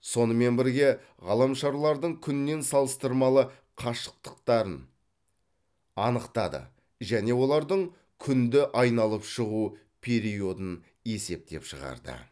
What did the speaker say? сонымен бірге ғаламшарлардың күннен салыстырмалы қашықтықтарын анықтады және олардың күнді айналып шығу периодын есептеп шығарды